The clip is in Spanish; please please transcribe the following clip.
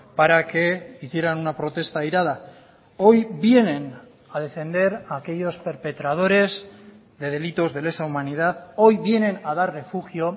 para que hicieran una protesta airada hoy vienen a defender a aquellos perpetradores de delitos de lesa humanidad hoy vienen a dar refugio